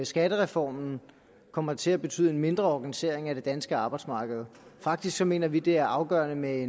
skattereformen kommer til at betyde en mindre organisering af det danske arbejdsmarked faktisk mener vi at det er afgørende med